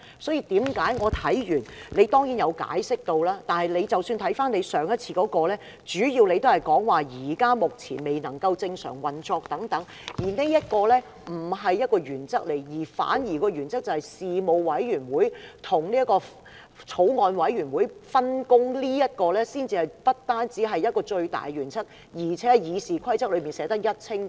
主席當然有解釋，但即使看回主席上次的決定，主要也是以議會目前未能正常運作等為理據，但這點並不是原則，反而原則是事務委員會和法案委員會的分工，這不僅是最大的原則，更是《議事規則》內寫得一清二楚的。